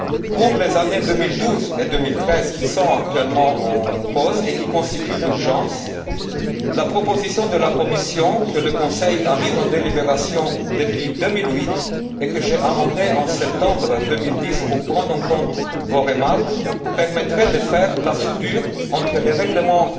Pour les années 2012 et 2013, qui sont actuellement en cause et qui appellent l'urgence, la proposition de la Commission, que le Conseil a mise en délibération depuis 2008 et que j'ai amendée en septembre 2010, pour prendre en compte vos remarques, permettrait de faire la soudure entre les règlements